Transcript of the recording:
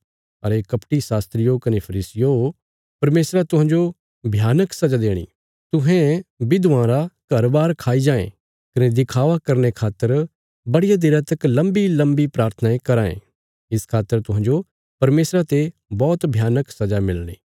[अरे कपटी यहूदी शास्त्रियो कने फरीसियो परमेशरा तुहांजो भयानक सजा देणी तुहें विधवां रा घर बार खाई जायें कने दिखावा करने खातर बड़िया देरा तक लम्बीलम्बी प्राथनायें कराँ ये इस खातर तुहांजो परमेशरा ते बौहत भयानक सजा मिलणी]